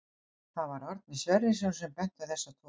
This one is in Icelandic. Það var Árni Sverrisson sem benti á þessa tvo.